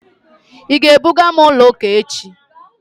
Ị ga-ebuga m ụlọ ụka echi?